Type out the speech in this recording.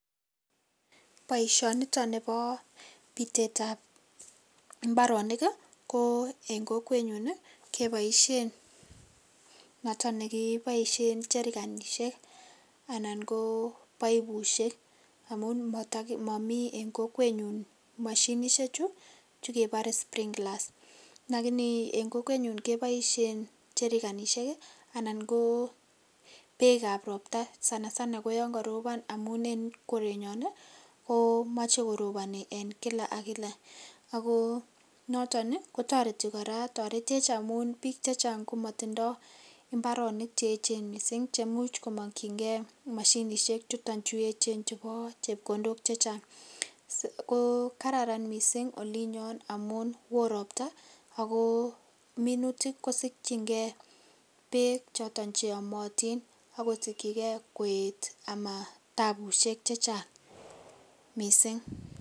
Boisioni nitoon bo biteet ab mbaronik ko en kokwet nyoon kebaisheen jerkenisheek anan ko baibusheek amuun mamii en kokwet nyuun mashinisheek chuu kebare sprinklers lakini en kokwet nyuun kebaisheen jerkenisheek anan kebaisheen beek ab roptaa sana sana ko yaan karopaan en korenyaan ii ko machei korobani en kila ak kila ago notoon ii kotaretii kora tareteech amuun biik che chaang komayindaa mbaronik che eecheen missing cheimuuch kamakyingei mashinisheek chutoon chu eecheen chubo chepkondook che chaang, kararan missing en olinyoon amuun wooh roptaa ago minutik kosikyigei beek chotoon che amatiin ,kosigyiigei koet ama tabusiek che chaang missing.